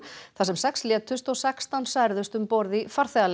þar sem sex létust og sextán særðust um borð í